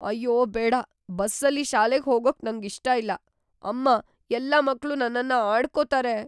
ಅಯ್ಯೋ ಬೇಡ! ಬಸ್ಸಲ್ಲಿ ಶಾಲೆಗ್ ಹೋಗೋಕ್ ನಂಗಿಷ್ಟ ಇಲ್ಲ, ಅಮ್ಮ. ಎಲ್ಲಾ ಮಕ್ಳು ನನ್ನನ್ನ ಆಡ್ಕೊತಾರೆ.